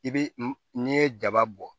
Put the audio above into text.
I bi n'i ye jaba bɔ